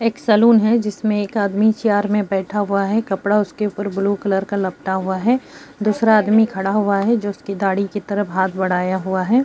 एक सलून है जिसमें एक आदमी चेयर में बैठा हुवा है कपड़ा उसके उपर ब्लू कलर का लपटा हुवा है। दूसरा आदमी खड़ा हुवा है जिसकी दाढ़ी के तरफ हाथ बढ़ाया हुवा है।